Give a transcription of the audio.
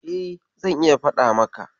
E, zan iya faɗa maka.